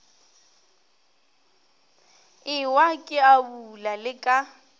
ewa ke abula le ka